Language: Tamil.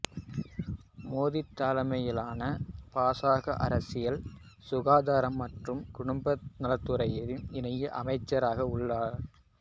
மோதி தலைமையிலான பாசக அரசில் சுகாதாரம் மற்றும் குடும்பநலத்துறை இணை அமைச்சராக உள்ளார்